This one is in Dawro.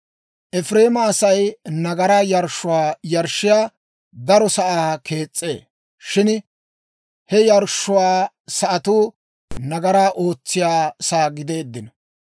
«Efireema Asay nagaraa yarshshuwaa yarshshiyaa daro sa'aa kees's'ee; shin he yarshshuwaa sa'atuu nagaraa ootsiyaa sa'aa gideeddino.